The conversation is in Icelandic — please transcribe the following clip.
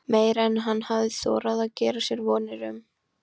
Meira en hann hafði þorað að gera sér vonir um.